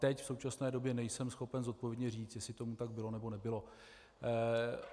Teď v současné době nejsem schopen zodpovědně říct, jestli tomu tak bylo, nebo nebylo.